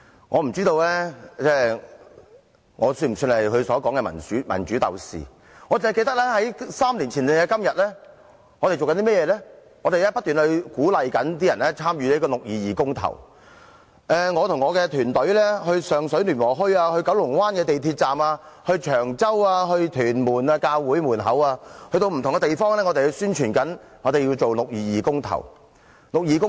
我不知道我是否他所說的民主鬥士，我只記得在3年前的今天，我們不斷鼓勵市民參與六二二公投，我和我的團隊到上水聯和墟、九龍灣港鐵站、長洲和屯門的教會門前，到不同的地方宣傳我們要進行六二二公投。